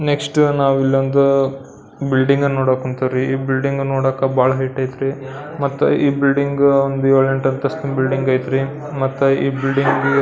next ನಾವು ಇಲ್ಲೊಂದು building ನೋಡಕ್ ಹೊಂತೀವ್ರಿ ಈ ಬಿಲ್ಡಿಂಗ್ ನೋಡಾಕ ಬಹಳ ಹೈಟ್ ಅಯ್ತ್ರಿ ಈ ಬಿಲ್ಡಿಂಗ್ ಒಂದ್ ಏಳೆಂಟು ಅಂತಸ್ತಿನ ಬಿಲ್ಡಿಂಗ್ ಅಯ್ತ್ರಿ ಮತ್ತ ಈ ಬಿಲ್ಡಿಂಗ್ --